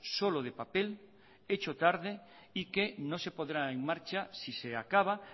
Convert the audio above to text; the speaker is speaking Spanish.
solo de papel hecho tarde y que no se pondrá en marcha si se acaba